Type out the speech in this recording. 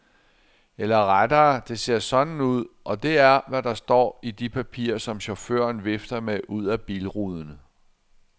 Ellere rettere, det ser sådan ud, og det er, hvad der står i de papirer, som chaufføren vifter med ud af bilruden.